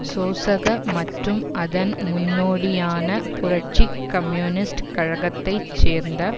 சோசக மற்றும் அதன் முன்னோடியான புரட்சி கம்யூனிஸ்ட் கழகத்தைச் சேர்ந்த